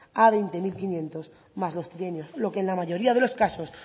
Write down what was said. a veinte mil quinientos más los trienios lo que en la mayoría de los casos